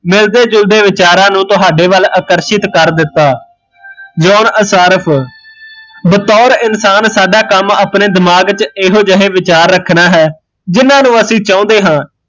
ਮਿਲਦੇ ਜੁਲਦੇ ਵਿਚਾਰਾ ਨੂ ਤੁਹਾਡੇ ਵੱਲ ਆਕਰਸ਼ਿਤ ਕਰ ਦਿੱਤਾ ਜੋਹਨ ਅਸਾਰਫ਼ ਬਤੋਰ ਇਨਸਾਨ ਸਾਡਾ ਕੰਮ ਆਪਣੇ ਦਿਮਾਗ ਚ ਇਹੋ ਜਹੇ ਵਿਚਾਰ ਰੱਖਣਾ ਹੈ ਜਿਹਨਾਂ ਨੂ ਅਸੀਂ ਚਾਹੁੰਦੇ ਹਾਂ